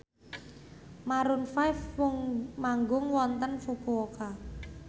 Maroon 5 manggung wonten Fukuoka